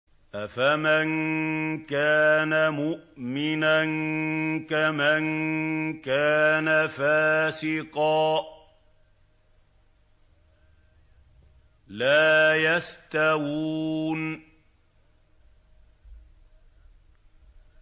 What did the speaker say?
أَفَمَن كَانَ مُؤْمِنًا كَمَن كَانَ فَاسِقًا ۚ لَّا يَسْتَوُونَ